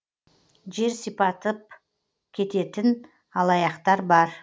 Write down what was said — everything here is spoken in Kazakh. жер сипатып кететін алаяқтар бар